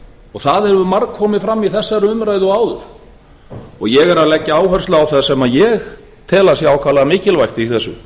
og það hefur margkomið fram í þessari umræðu og áður ég er að leggja áherslu á það sem ég tel að sé ákaflega mikilvægt í þessu